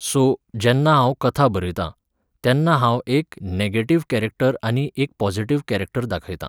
so, जेन्ना हांव कथा बरयतां, तेन्ना हांव एक नॅगॅटिव्ह कॅरॅक्टर आनी एक पॉजिटिव्ह कॅरॅक्टर दाखयतां